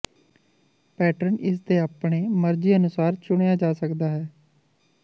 pattern ਇਸ ਦੇ ਆਪਣੇ ਮਰਜ਼ੀ ਅਨੁਸਾਰ ਚੁਣਿਆ ਜਾ ਸਕਦਾ ਹੈ